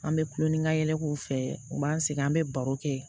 An bɛ kulon ni ka yɛlɛ k'u fɛ u b'an sigi an bɛ baro kɛ